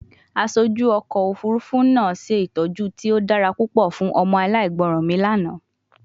Aṣoju ọkọ ofurufu naa Se itọju ti o dara pupọ fun ọmọ alaigbọran mi lana